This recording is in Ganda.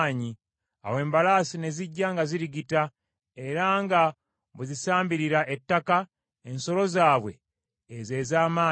Awo embalaasi ne zijja nga zirigita era nga bwe zisambirira ettaka, ensolo zaabwe ezo ez’amaanyi.